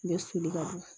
U bɛ soli ka bɔ